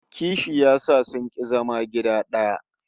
Kishi ya sa sun ki zama gida daya